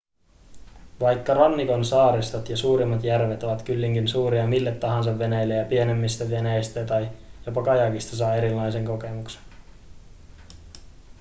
vaikka rannikon saaristot ja suurimmat järvet ovatkin kyllin suuria mille tahansa veneille pienemmistä veneistä tai jopa kajakista saa erilaisen kokemuksen